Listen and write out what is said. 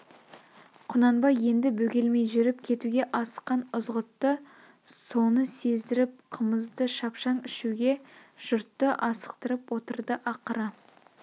құнанбай енді бөгелмей жүріп кетуге асыққан ызғұтты соны сездіріп қымызды шапшаң ішуге жұртты асықтырып отырды ақыры